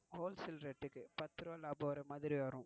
Wholesale rate க்கு பத்து ரூபாய் லாபம் வர மாதிரி வரும்.